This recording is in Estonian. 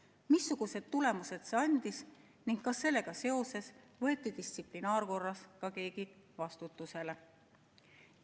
Kui on, siis missuguseid tulemusi see andis ning kas sellega seoses võeti distsiplinaarkorras keegi vastutusele?